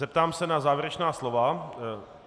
Zeptám se na závěrečná slova.